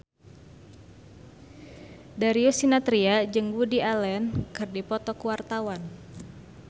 Darius Sinathrya jeung Woody Allen keur dipoto ku wartawan